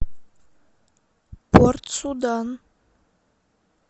порт судан